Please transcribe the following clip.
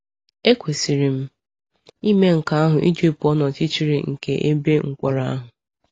Ekwesịrị m ime nke ahụ iji pụọ n’ọchịchịrị nke ebe mkpọrọ ahụ.